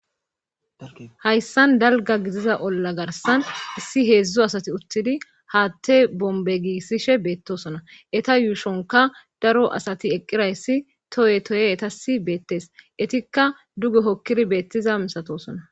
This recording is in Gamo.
hayssan dalga gidiza olla garsan issi heedzdzu asati uttidi haatte bombe gissishe beettosona eta yuushonka daro asati eqqirayssi toye toye etasi beettees etikka duge hokkiri beettiza misatosona